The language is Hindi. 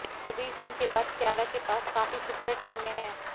कबीर सिंह के बाद कियारा के पास काफी सुपरहिट फिल्में हैं